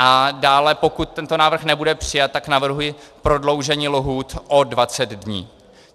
A dále, pokud tento návrh nebude přijat, tak navrhuji prodloužení lhůt o 20 dní.